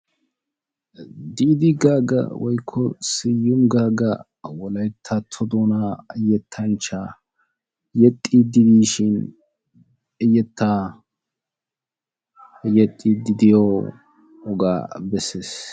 Diid Gaaga woykko Siyumi Gaaga wolayttato doona yettanchcha yexxidi dishin I yetta yexxidi diyooga bessees.